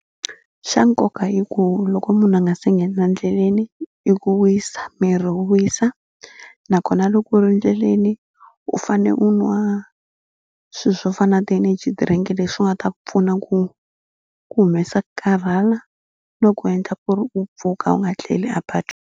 Xa nkoka hi ku loko munhu a nga se nghena endleleni i ku wisa miri wu wisa nakona loko u ri endleleni u fane u nwa swilo swo fana na ti-energy drink leswi nga ta ku pfuna ku ku humesa ku karhala no ku endla ku ri u pfuka u nga tleli a patwini.